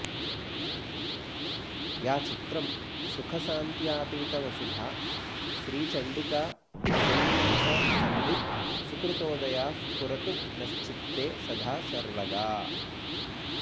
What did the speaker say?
या चित्रं सुखशान्त्यतीतवसुधा श्रीचण्डिका शूलिनी सा संवित् सुकृतोदया स्फुरतु नश्चित्ते सदा सर्वगा